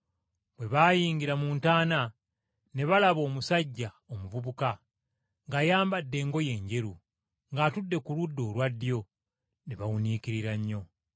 Bwe baayingira mu ntaana, ne balaba omusajja omuvubuka, ng’ayambadde engoye enjeru, ng’atudde ku ludda olwa ddyo! Ne bawuniikirira nnyo!